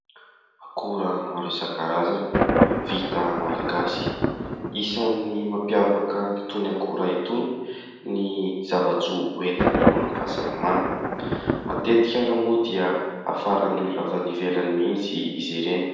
Akora maro isan-karazany vita malagasy. Isany mampiavaka an'itony akora itony ny zava-tsoa hoentiny amin'ny fahasalamana matetika ary moa dia hafaran'ny olona avy any ivelany mihitsy izy ireny.